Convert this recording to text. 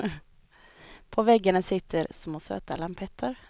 På väggarna sitter små söta lampetter.